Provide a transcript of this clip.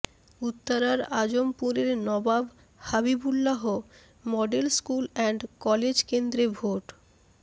উত্তরার আজমপুরের Nawab Habibullah model school and college কেন্দ্রে ভোট